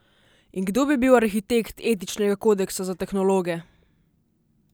In kdo bi bil arhitekt etičnega kodeksa za tehnologe?